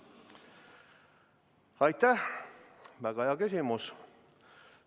Aitäh, väga hea küsimus!